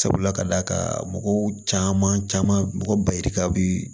Sabula ka d'a kan mɔgɔw caman caman mɔgɔ ba yirika bi